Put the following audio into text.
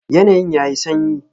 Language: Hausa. Yanayin yayi sanyi.